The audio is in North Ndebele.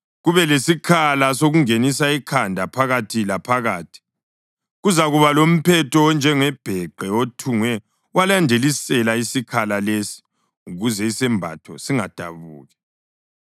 kube lesikhala sokungenisa ikhanda phakathi laphakathi. Kuzakuba lomphetho onjengebheqe othungwe walandelisela isikhala lesi ukuze isembatho singadabuki.